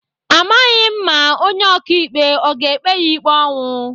Amaghị m ma onye ọkaikpe ọ ga-ekpe ya ikpe ọnwụ.